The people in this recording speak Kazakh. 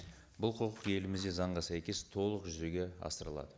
бұл құқық елімізде заңға сәйкес толық жүзеге асырылады